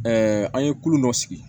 an ye kulo dɔ sigi